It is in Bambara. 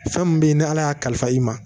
Fɛn min bɛ yen ni ala y'a kalifa i ma